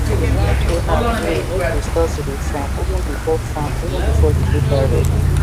the land owner gree make we start to dey farm even before farm even before the paper ready